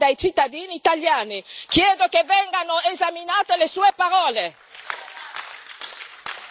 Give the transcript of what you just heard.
Io sono cittadina europea, eletta dai cittadini italiani! Chiedo che vengano esaminate le sue parole.